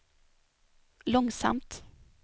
långsamt